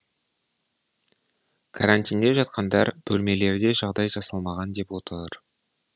карантинде жатқандар бөлмелерде жағдай жасалмаған деп отыр